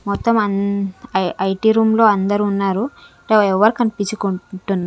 మొత్తం అంద్ ఐ ఐటి రూమ్ లో అందరు ఉన్నారు ఎవరు కన్పించ కుంటన్ --